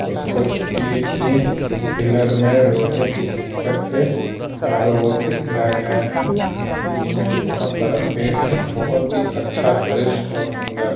उसको स्टील के पिलर में लोहे के सिक्कड़ से चारों और से घेरा गया है। बीच में एक बहुत बड़ा पेड़ है। बहुत हीं अच्छा दृश्य और सुन्दर है।